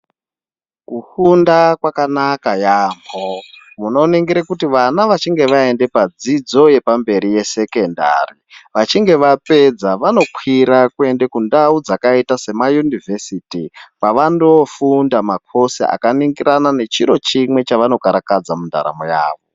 Kufunda kwakanaka yaamho. Munoningire kuti vana vechinge vaendapadzidzo yepamberi yesekendari. Vachinge vapedza vanokwira kuende kundau dzakaita semayunivhesiti kwavanofunda makhosi akandoningirana nechiro chimwe chevanokarakadza mundaramo yavo.